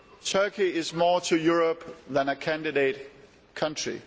Turkey is more to Europe than a candidate country.